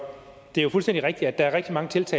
jens